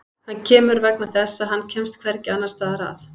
Hann kemur vegna þess að hann kemst hvergi annars staðar að.